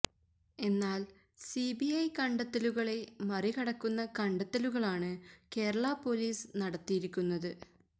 എന്നാല് C B I കണ്ടെത്തലുകളെ മറികടക്കുന്ന കണ്ടെത്തലുകളാണ് കേരളാപൊലീസ് നടത്തിയിരിക്കുന്നത്